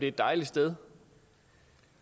et dejligt sted